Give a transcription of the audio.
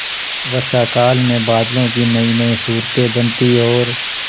वर्षाकाल में बादलों की नयीनयी सूरतें बनती और